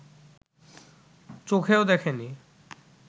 চোখেও দেখে নি